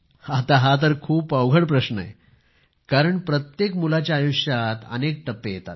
हा तर खूपच अवघड प्रश्न कारण प्रत्येक मुलाच्या आयुष्यात अनेक टप्पे येतात